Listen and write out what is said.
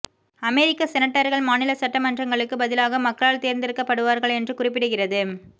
அமெரிக்க செனட்டர்கள் மாநில சட்டமன்றங்களுக்குப் பதிலாக மக்களால் தேர்ந்தெடுக்கப்படுவார்கள் என்று குறிப்பிடுகிறது